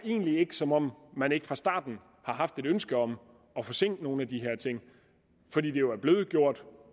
som om man ikke fra starten har haft et ønske om at forsinke nogle af de her ting for det er jo blevet gjort